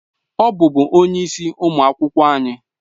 Ọ bụbu onye isi ụmụ akwụkwọ anyị